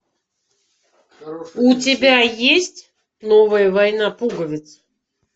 у тебя есть новая война пуговиц